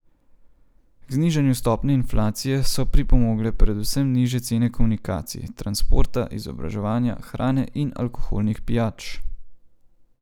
K znižanju stopnje inflacije so pripomogle predvsem nižje cene komunikacij, transporta, izobraževanja, hrane in alkoholnih pijač.